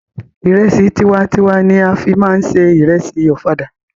Ìrẹsì tiwa n tiwa ni a fí máa ń se ìrẹsì ọ̀fadà.